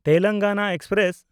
Telangana express